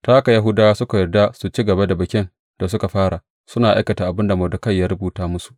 Ta haka, Yahudawa suka yarda su ci gaba da bikin da suka fara, suna aikata abin da Mordekai ya rubuta musu.